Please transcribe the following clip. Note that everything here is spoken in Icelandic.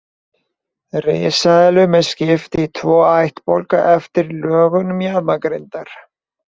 Risaeðlum er skipt í tvo ættbálka eftir lögun mjaðmagrindar.